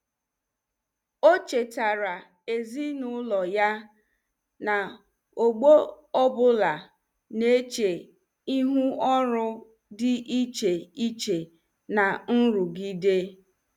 O chetaara ezinụlọ ya na ọgbọ ọ bụla na-eche ihu ọrụ dị iche iche na nrụgide.